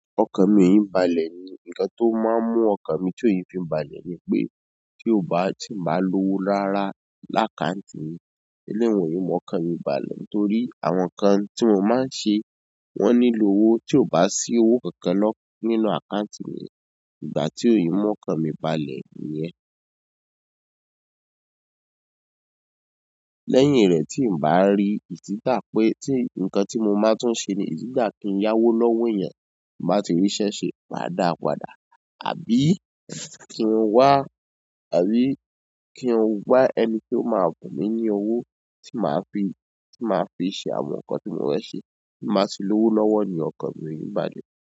Ọkàn mìí balẹ̀ ni. Ǹkan tó máa ń mú ọkàn mi tí ò ye fi n balẹ̀ ni pé tí ó bá tí ì n bá lowó rára lákàǹtì mi, eléyun e mú ọkàn mi balẹ̀ ni torí àwọn ǹkan tí mo máa ń ṣe wọ́n nílò owó, tí ò bá sí owó kankan lọ́--, nínú àkáǹtì mi, ìgbà tí èé mú ọkàn mi balẹ̀ nìyẹn. Lẹ́yìn rẹ̀ tí ǹ bá rí ìtítà pé tí ǹkan tí mo máa tún ṣe ni is either kí ń yá owó lọ́wọ́ ènìyàn ti n bá ti rí ṣẹ́ ṣe máa dáa padà, àbí kí n wá, àbí kí n wá ẹni tó máa bùn mi ní owó tí màá fi, tí màá fi ṣe àwọn nǹkan tí mò fẹ̀ ṣe. Tí ǹ báti lówó lọ́wọ́ ni okan mi ee balẹ̀.